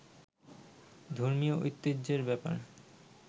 ধর্মীয় ঐতিহ্যের ব্যাপারে